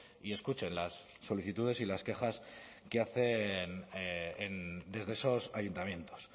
y escuchen las solicitudes y las quejas que hacen desde esos ayuntamientos